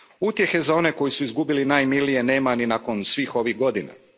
Utjehe za one koji su izgubili najmilije nema ni nakon svih ovih godina.